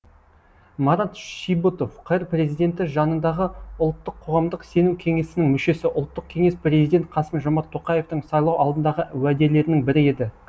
марат шибұтов қр президенті жанындағы ұлттық қоғамдық сенім кеңесінің мүшесі ұлттық кеңес президент қасым жомарт тоқаевтың сайлау алдындағы уәделерінің бірі еді